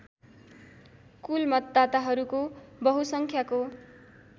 कुल मतदाताहरूको बहुसङ्ख्याको